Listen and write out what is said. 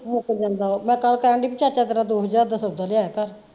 ਮੁੱਕ ਜਾਂਦਾ ਵਾ, ਮੈਂ ਕੱਲ ਕਹਿਣ ਡੀ ਬੀ ਚਾਚਾ ਤੇਰਾ ਦੋ ਹਜ਼ਾਰ ਦਾ ਸੌਦਾ ਲਿਆਇਆ ਘਰ।